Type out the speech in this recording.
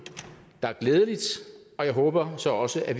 der er glædeligt og jeg håber så også at